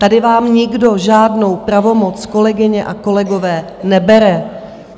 Tady vám nikdo žádnou pravomoc, kolegyně a kolegové, nebere.